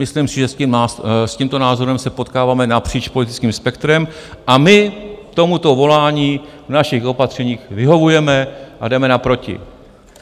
Myslím si, že s tímto názorem se potkáváme napříč politickým spektrem a my tomuto volání v našich opatřeních vyhovujeme a jdeme naproti.